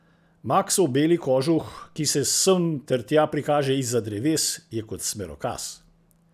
Maksov beli kožuh, ki se sem ter tja prikaže izza dreves, je kot smerokaz.